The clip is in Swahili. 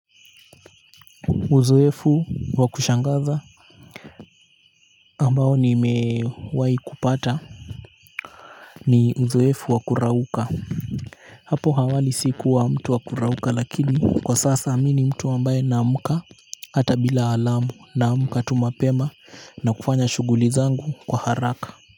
Uzoefu wakushangaza ambao nimewahi kupata ni uzoefu wa kurauka. Hapo awali siku wa mtu wa kurauka lakini kwa sasa mimi ni mtu ambaye naamka. Hata bila alamu, naamka tu mapema na kufanya shughuli zangu kwa haraka.